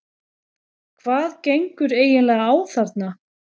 HVAÐ GENGUR EIGINLEGA Á ÞARNA?